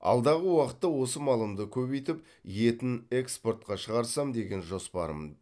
алдағы уақытта осы малымды көбейтіп етін экспортқа шағырсам деген жоспарым